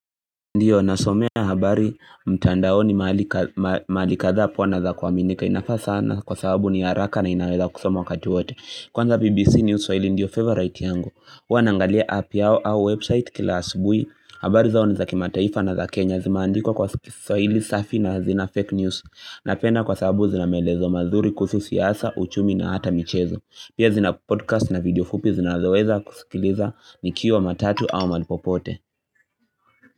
Ndiyo nasomea habari mtandaoni mahali kadhaa poa na za kuaminika inafaa sana kwa sababu ni haraka na inaweza kusoma wakati wote Kwanza BBC News Swahili ndiyo favorite yangu huwa nangalia app yao au website kila asubui habari zao ni za kimataifa na za Kenya zimaandikwa kiswahili safi na hazina fake news Napenda kwa sababu zina maelezo mazuri kuhusu siasa, uchumi na hata michezo Pia zina podcast na video fupi zinazoweza kusikiliza nikiwa matatu au mahali popote.